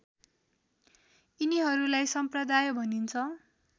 यिनिहरूलाई सम्प्रदाय भनिन्छ